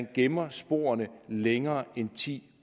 gemme sporene længere end i ti